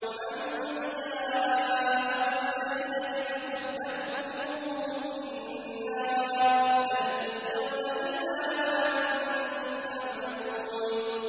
وَمَن جَاءَ بِالسَّيِّئَةِ فَكُبَّتْ وُجُوهُهُمْ فِي النَّارِ هَلْ تُجْزَوْنَ إِلَّا مَا كُنتُمْ تَعْمَلُونَ